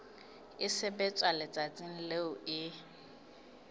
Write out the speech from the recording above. e sebetswa letsatsing leo e